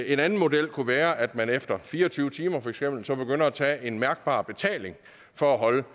en anden model kunne være at man efter fire og tyve timer så for eksempel begynder at tage en mærkbar betaling for at holde